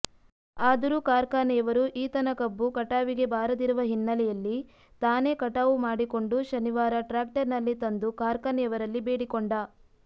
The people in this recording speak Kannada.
ಆದರೂ ಕಾರ್ಖಾನೆಯವರು ಈತನ ಕಬ್ಬು ಕಟಾವಿಗೆ ಬಾರದಿರುವ ಹಿನ್ನೆಲೆಯಲ್ಲಿ ತಾನೇ ಕಟಾವು ಮಾಡಿಕೊಂಡು ಶನಿವಾರ ಟ್ರ್ಯಾಕ್ಟರ್ನಲ್ಲಿ ತಂದು ಕಾರ್ಖಾನೆಯವರಲ್ಲಿ ಬೇಡಿಕೊಂಡ